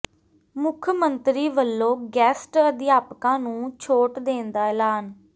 ਮੁੱਖ ਮੰਤਰੀ ਵੱਲੋਂ ਗੈਸਟ ਅਧਿਆਪਕਾਂ ਨੂੰ ਛੋਟ ਦੇਣ ਦਾ ਐਲਾਨ